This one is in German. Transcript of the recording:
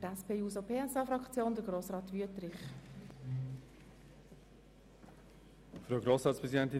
Für die SP-JUSO-PSA-Fraktion hat Grossrat Wüthrich das Wort.